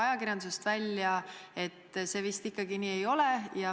Ajakirjandusest on välja tulnud, et see vist ikkagi nii ei ole.